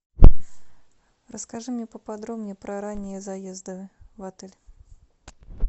расскажи мне поподробнее про ранние заезды в отель